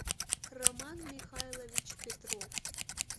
роман михайлович петров